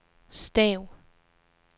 stav